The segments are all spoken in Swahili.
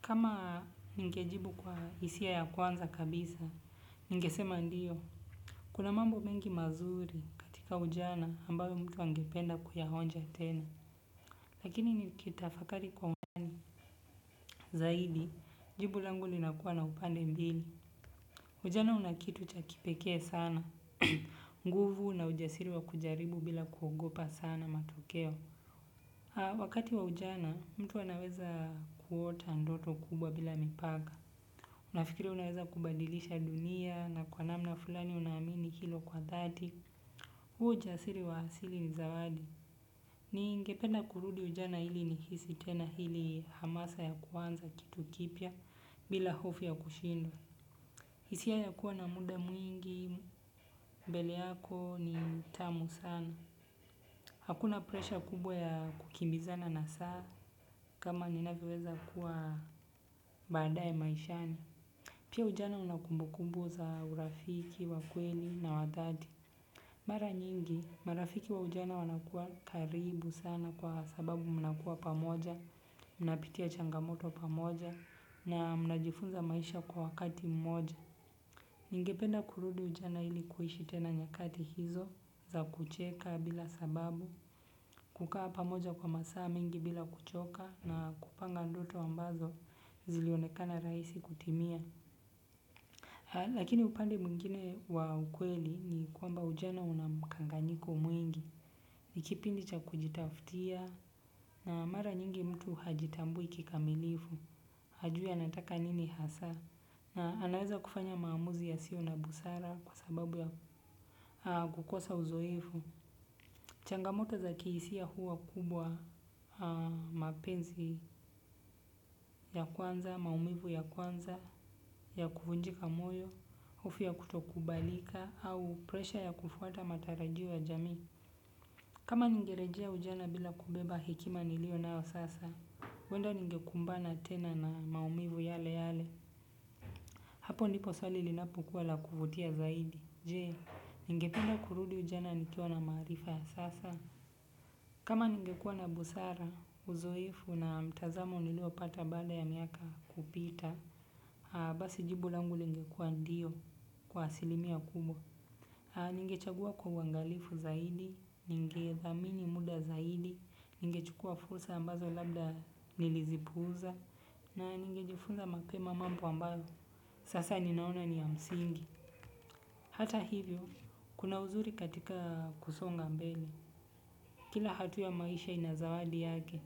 Kama ningejibu kwa hisia ya kwanza kabisa, ningesema ndiyo. Kuna mambo mengi mazuri katika ujana ambayo mtu angependa kuyaonja tena. Lakini nikitafakari kwa zaidi, jibu langu linakuwa na upande mbili. Ujana una kitu cha kipekee sana, nguvu na ujasiri wa kujaribu bila kuogopa sana matokeo. Wakati wa ujana, mtu anaweza kuota ndoto kubwa bila mipaka. Unafikiria unaweza kubadilisha dunia na kwa namna fulani unaamini hilo kwa dhati. Huo ujasiri wa asili ni zawadi ningependa kurudi ujana ili nihisi tena ile hamasa kitu kipya bila hofu ya kushindwa. Hisia ya kuwa na muda mwingi, mbele yako ni tamu sana. Hakuna presha kubwa ya kukimbizana na saa kama ninavyoweza kuwa badaye maishani. Pia ujana una kumbukumbu za urafiki, wa kweli na wa dhati. Mara nyingi, marafiki wa ujana wanakuwa karibu sana kwa sababu mnakuwa pamoja, mnapitia changamoto pamoja na mnajifunza maisha kwa wakati mmoja. Ningependa kurudi ujana ili kuishi tena nyakati hizo za kucheka bila sababu, kukaa pamoja kwa masaa mengi bila kuchoka na kupanga ndoto ambazo zilionekana rahisi kutimia. Lakini upande mwingine wa ukweli ni kwamba ujana una mkanganyiko mwingi, ni kipindi cha kujitafutia na mara nyingi mtu hajitambui kikamilifu, hajui anataka nini hasa na anaweza kufanya maamuzi yasio na busara kwa sababu ya kukosa uzoefu. Changamoto za kihisia huwa kubwa mapenzi ya kwanza, maumivu ya kwanza, ya kuvunjika moyo, hofu ya kutokubalika, au presha ya kufuata matarajio ya jamii. Kama ningerejea ujana bila kubeba hekima nilio nayo sasa, huenda ningekumbana tena na maumivu yale yale. Hapo ndipo swali linapokuwa la kuvutia zaidi. Jee, ningependa kurudi ujana nikiwa na marifa sasa. Kama ningekua na busara, uzoefu na mtazamo nilio pata bada ya miaka kupita, basi jibu langu lingekuwa ndio kwa asilimia kubwa. Ningechagua kwa uangalifu zaidi, ningethamini muda zaidi, ningechukua fursa ambazo labda nilizipuuza, na ningejifunza mapema mambo ambayo. Sasa ninaona ni ya msingi. Hata hivyo, kuna uzuri katika kusonga mbele. Kila hatua ya maisha ina zawadi yake,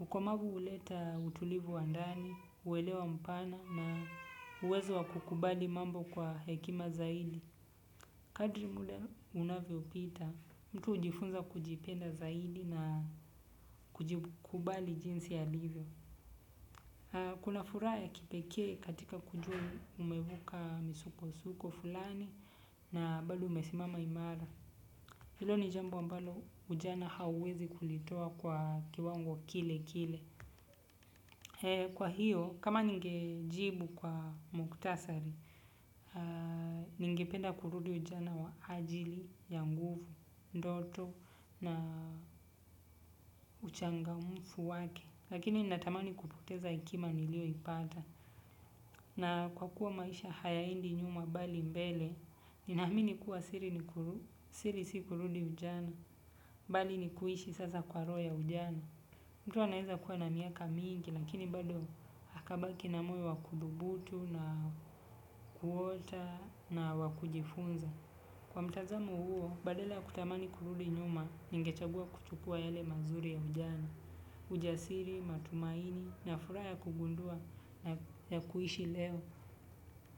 ukomavu huleta utulivu wa ndani, uwelewa mpana na uwezo wa kukubali mambo kwa hekima zaidi. Kadri muda unavyopita, mtu hujifunza kujipenda zaidi na kujikubali jinsi alivyo. Kuna furaha ya kipekee katika kujua umevuka misukosuko fulani na bado umesimama imara. Hilo ni jambo ambalo ujana hauwezi kulitoa kwa kiwango kile kile. Kwa hiyo, kama ningejibu kwa mukhtasari, ningependa kurudi ujana wa ajili, ya nguvu, ndoto na uchangamfu wake. Lakini natamani kupoteza hekima nilio ipata. Na kwa kuwa maisha hayaendi nyuma bali mbele, ninaamini kuwa siri si kurudi ujana, bali ni kuishi sasa kwa roho ya ujana. Mtu anaweza kuwa na miaka mingi lakini bado akabaki na moyo wa kudhubutu, kuota na wa kujifunza. Kwa mtazamo huo, badala ya kutamani kurudi nyuma, ningechagua kuchukua yale mazuri ya ujana. Ujasiri, matumaini, na furaha ya kugundua, na ya kuishi leo.